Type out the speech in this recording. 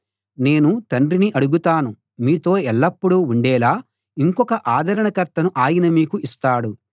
నేను తండ్రిని అడుగుతాను మీతో ఎల్లప్పుడూ ఉండేలా ఇంకొక ఆదరణకర్తను ఆయన మీకు ఇస్తాడు